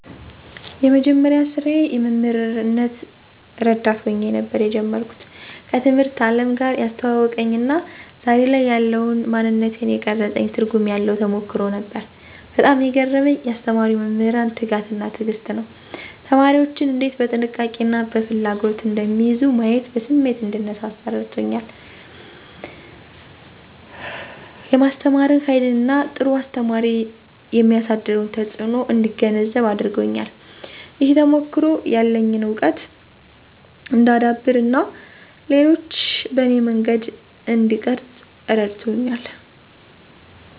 የመጀመሪያ ስራዬ የመምህር ረዳት ሆኜ ነበር የጀመርኩት። ከትምህርት አለም ጋር ያስተዋወቀኝ እና ዛሬ ላይ ያለውን ማንነቴን የቀረፀኝ ትርጉም ያለው ተሞክሮ ነበር። በጣም የገረመኝ ያስተማሩኝ መምህራን ትጋት እና ትዕግስት ነው። ተማሪዎችን እንዴት በጥንቃቄ እና በፍላጎት እንደሚይዙ ማየቴ በስሜት እንድነሳሳ አረድቶኛል። የማስተማርን ሃይልን እና ጥሩ አስተማሪ የሚያሳድረውን ተጽእኖ እንድገነዘብ አድርጎኛል። ይህ ተሞክሮ ያለኝን እውቀት እንዳዳብር እና ሌሎችን በኔ መንገድ እንድቀርፅ እረድቶኛል።